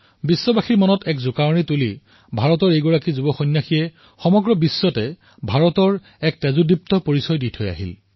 সমগ্ৰ বিশ্বৰ মানৱ জাতিক একত্ৰিত কৰা ভাৰতৰ এই যুৱ সন্যাসীয়ে বিশ্বত ভাৰতৰ তেজস্বী প্ৰতিচ্ছবি ৰাখি থৈ গৈছিল